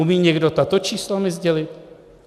Umí někdo tato čísla mi sdělit?